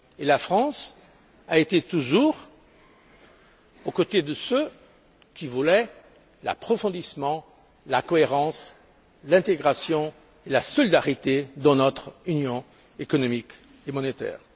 La France a toujours été aux côtés de ceux qui voulaient l'approfondissement, la cohérence, l'intégration et la solidarité dans notre union économique et monétaire.